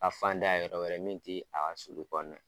A fan da yɔrɔ wɛrɛ min ti a ka sulu kɔnɔna ye.